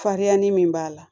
Farinya ni min b'a la